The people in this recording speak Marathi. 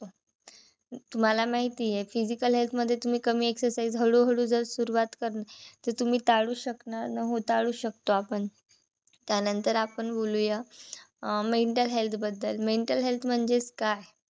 तुम्हाला माहितीय physical health मध्ये तुम्ही कमी exercise हळूहळू जर आपण सुरुवात करणार तर तुम्ही टाळू शकणार हो टाळू शकतो आपण. त्यानंतर आपण बोलूया mental health बद्दल mental health म्हणजेच काय?